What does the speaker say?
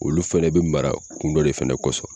Olu fɛnɛ bɛ mara kungo de fɛnɛ kɔsɔn.